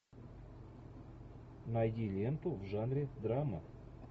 найди ленту в жанре драма